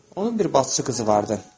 Onun bir bacısı qızı vardı.